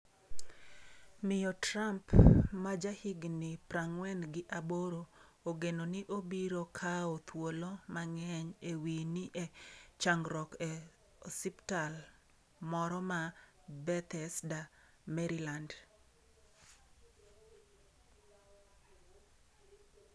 Miyo Trump ma jahigni prang'wen gi aboro, ogeno ni obiro kawo thuolo mang'eny e wi ni e changruok e osiptal moro ma Bethesda, Maryland.